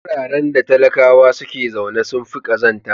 Wararen da talakawa suke zaune sun fi kazanta.